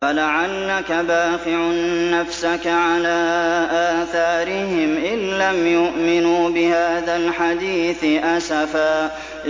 فَلَعَلَّكَ بَاخِعٌ نَّفْسَكَ عَلَىٰ آثَارِهِمْ إِن لَّمْ يُؤْمِنُوا بِهَٰذَا الْحَدِيثِ أَسَفًا